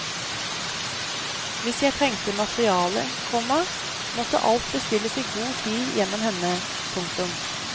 Hvis jeg trengte materiale, komma måtte alt bestilles i god tid gjennom henne. punktum